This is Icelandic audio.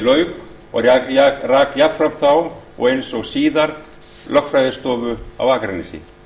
lauk og rak jafnframt þá og eins síðar lögfræðiskrifstofu á akranesi